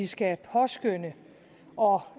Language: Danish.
skal påskønne og